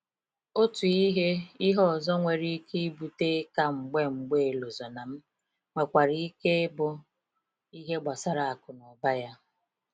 Otu ihe ihe ọzọ nwere ike ibute 'ịka mgbe mgbe Elozonam, nwekwara ike ịbụ ihe gbasara akụnụba ya.